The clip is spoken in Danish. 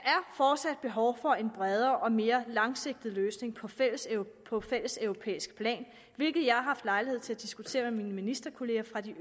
fortsat behov for en bredere og mere langsigtet løsning på fælleseuropæisk på fælleseuropæisk plan hvilket jeg har haft lejlighed til at diskutere med mine ministerkollegaer fra de